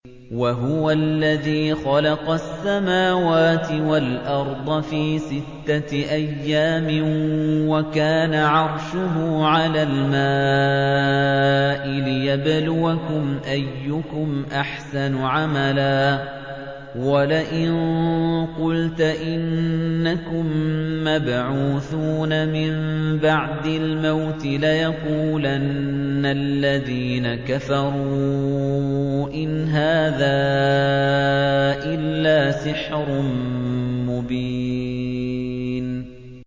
وَهُوَ الَّذِي خَلَقَ السَّمَاوَاتِ وَالْأَرْضَ فِي سِتَّةِ أَيَّامٍ وَكَانَ عَرْشُهُ عَلَى الْمَاءِ لِيَبْلُوَكُمْ أَيُّكُمْ أَحْسَنُ عَمَلًا ۗ وَلَئِن قُلْتَ إِنَّكُم مَّبْعُوثُونَ مِن بَعْدِ الْمَوْتِ لَيَقُولَنَّ الَّذِينَ كَفَرُوا إِنْ هَٰذَا إِلَّا سِحْرٌ مُّبِينٌ